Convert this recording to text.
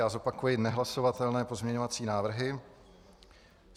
Já zopakuji nehlasovatelné pozměňovací návrhy.